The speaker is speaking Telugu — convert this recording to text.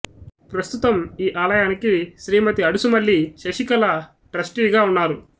ప్రస్తుతం ఈ ఆలయానికి శ్రీమతి అడుసుమల్లి శశికళ ట్రస్టీగా ఉన్నారు